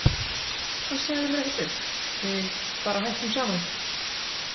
Hann sagði mér ekkert upp, við bara hættum saman.